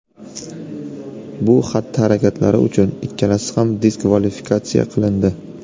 Bu xatti-harakatlari uchun ikkalasi ham diskvalifikatsiya qilindi.